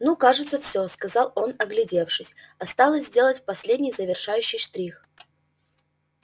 ну кажется все сказал он оглядевшись осталось сделать последний завершающий штрих